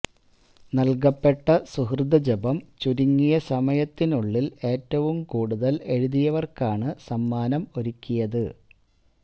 നൽകപ്പെട്ട സുകൃതജപം ചുരുങ്ങിയ സമയത്തീ നുള്ളിൽ ഏറ്റവും കൂടുതൽ എഴുതിയ വർക്കാണ് സമ്മാനം ഒരുക്കിയത്